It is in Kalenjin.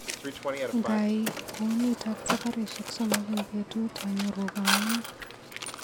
Ngaai kounitok sabarishek somok eng betut anyoru kamung.